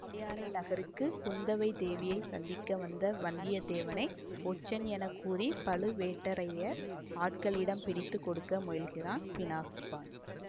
பழையாறை நகருக்கு குந்தவை தேவியை சந்திக்க வந்த வந்தியத்தேவனை ஒற்றன் என கூறி பழுவேட்டரையர் ஆட்களிடம் பிடித்து கொடுக்க முயல்கிறான் பினாகபாணி